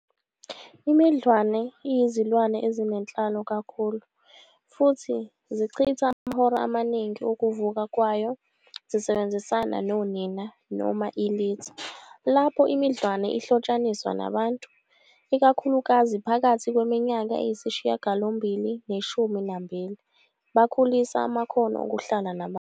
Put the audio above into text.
Imidlwane iyizilwane ezinenhlalo kakhulu futhi zichitha amahora amaningi okuvuka kwayo zisebenzisana nonina noma ilitha. Lapho imidlwane ihlotshaniswa nabantu, ikakhulukazi phakathi kweminyaka eyisishiyagalombili neshumi nambili, bakhulisa amakhono okuhlala nabantu.